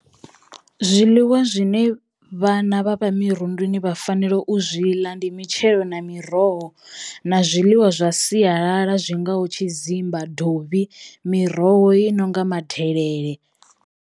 Zwiḽiwa zwine vhana vhavha mirunduni vha fanela u zwi ḽa ndi mitshelo na miroho na zwiḽiwa zwa siyalala zwingaho tshidzimba, dovhi, miroho i nonga madelele.